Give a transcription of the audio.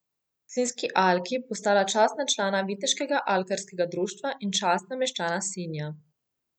Sinjski alki postala častna člana Viteškega alkarskega društva in častna meščana Sinja.